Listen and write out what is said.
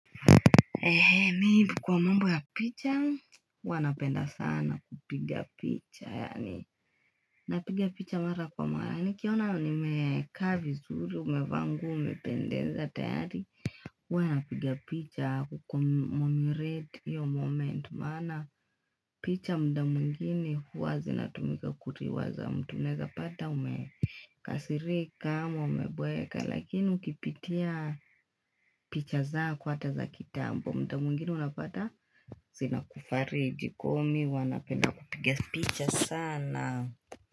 Ehe mi kwa mambo ya picha huwa napenda sana kupiga picha yaani. Napiga picha mara kwa mara nikiona nimekaa vizuri umevaa nguo umependeza tayari huwa napiga picha kukumumiret hiyo moment maana picha muda mwingine huwa zinatumika kuliwaza mtu unawezapata ume Kasirika ama umeboeka lakini ukipitia picha zako hata za kitambo muda mwingine unapata zinakufariji kwa hiyo mimi huwa napenda kupiga picha sana.